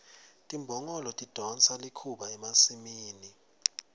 timbongolo tidonsa likhuba emasimini